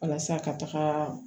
Walasa ka taga